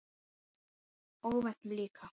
Óvæntum líka.